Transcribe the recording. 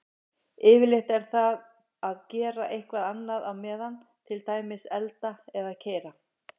Yfirleitt er það að gera eitthvað annað á meðan, til dæmis elda eða keyra.